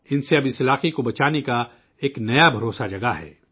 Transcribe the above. ان اب اس علاقے کو بچانے کا ایک نیا اعتماد پیدا ہوا ہے